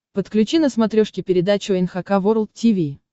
подключи на смотрешке передачу эн эйч кей волд ти ви